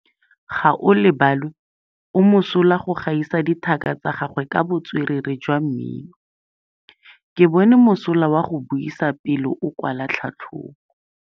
Gaolebalwe o mosola go gaisa dithaka tsa gagwe ka botswerere jwa mmino. Ke bone mosola wa go buisa pele o kwala tlhatlhobô.